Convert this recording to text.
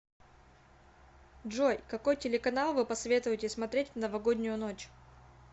джой какой телеканал вы посоветуете смотреть в новогоднюю ночь